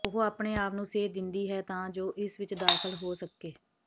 ਉਹ ਆਪਣੇ ਆਪ ਨੂੰ ਸੇਧ ਦਿੰਦੀ ਹੈ ਤਾਂ ਜੋ ਇਸ ਵਿੱਚ ਦਾਖਲ ਹੋ ਸਕੇ